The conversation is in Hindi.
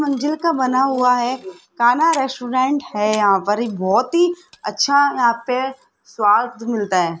मंजिल का बना हुआ है कान्हा रेस्टोरेंट है यहां पर ये बहोत ही अच्छा यहां पे स्वाद मिलता है।